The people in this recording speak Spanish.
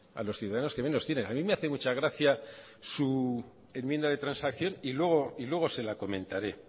a los ciudadanos que menos tienen a mí me hace mucha gracia su enmienda de transacción y luego se lo comentaré